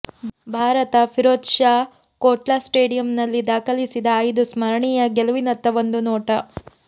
ಭಾರತ ಫಿರೋಝ್ ಷಾ ಕೋಟ್ಲಾ ಸ್ಟೇಡಿಯಂನಲ್ಲಿ ದಾಖಲಿಸಿದ ಐದು ಸ್ಮರಣೀಯ ಗೆಲುವಿನತ್ತ ಒಂದು ನೋಟ